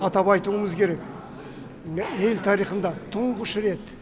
атап айтуымыз керек ел тарихында тұңғыш рет